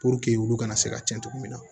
Puruke olu kana se ka tiɲɛ cogo min na